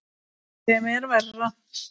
Sem er verra.